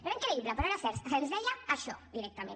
era increïble però era cert se’ns deia això directament